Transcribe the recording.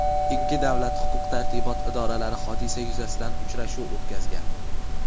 Ikki davlat huquq tartibot idoralari hodisa yuzasidan uchrashuv o‘tkazgan.